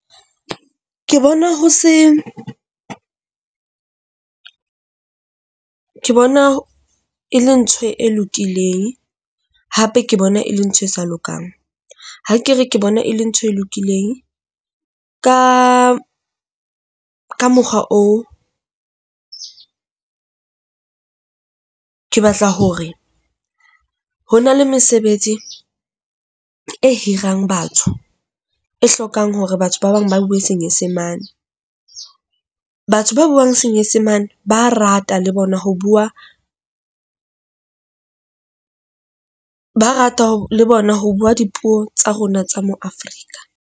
Ke bona ho se ke bona e le ntho e lokileng, hape ke bona e le ntho e sa lokang. Ha ke re ke bona e le ntho e lokileng ka ka mokgwa oo, ke batla hore ho na le mesebetsi e hirang batho e hlokang hore batho ba bang ba buwe Senyesemane. Batho ba buang Senyesemane ba rata le bona ho bua, ba rata le bona ho bua dipuo tsa rona tsa mo Afrika.